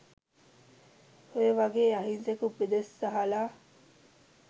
ඔය වගේ අහිංසක උපදෙස් අහල